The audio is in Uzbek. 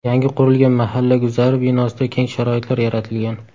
Yangi qurilgan mahalla guzari binosida keng sharoitlar yaratilgan.